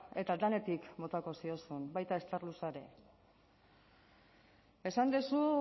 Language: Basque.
eta denetik botako zenion baita ere starluxa ere esan duzu